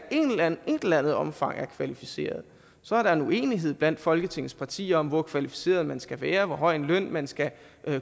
et eller andet omfang er kvalificerede så er der en uenighed blandt folketingets partier om hvor kvalificeret man skal være og hvor høj en løn man skal